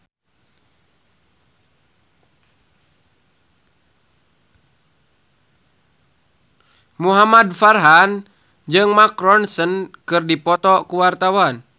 Muhamad Farhan jeung Mark Ronson keur dipoto ku wartawan